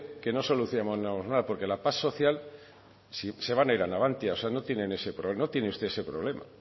que no solucionamos nada porque la paz social se van a ir a navantia o sea no tiene usted este problema